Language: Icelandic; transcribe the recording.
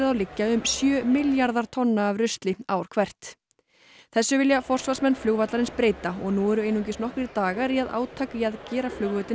liggja um sjö milljarðar tonna af rusli ár hvert þessu vilja forsvarsmenn flugvallarins breyta og nú eru einungis nokkrir dagar í að átak í að gera flugvöllinn